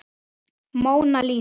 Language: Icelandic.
Móna Lísa.